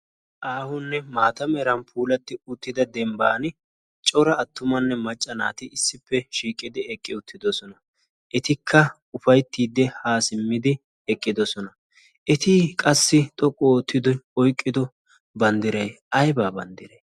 aahunne maatameeran puulatti uttida dembban cora attumanne macca naati issippe shiiqqidi eqqi uttidosona. etikka ufaittiiddi haa simmidi eqqidosona. eti qassi xoqqu oottido oyqqido banddiryi aibaa banddirai?